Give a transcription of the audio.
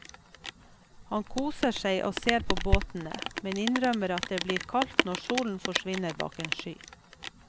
Han koser seg og ser på båtene, men innrømmer at det blir kaldt når solen forsvinner bak en sky.